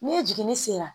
Ni jiginni sera